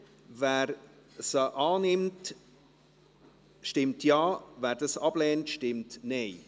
Wer diese annimmt, stimmt Ja, wer diese ablehnt, stimmt Nein.